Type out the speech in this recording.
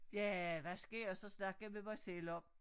Ja hvad skal jeg så snakke med mig selv om